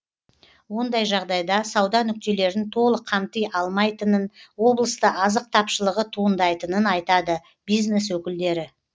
ондай жағдайда сауда нүктелерін толық қамти алмайтынын облыста азық тапшылығы туындайтынын айтады бизнес өкілдері